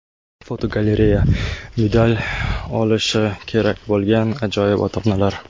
Fotogalereya: Medal olishi kerak bo‘lgan ajoyib ota-onalar.